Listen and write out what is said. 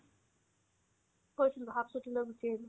গৈছিলো half ছুটী লৈ গুচি আহিলো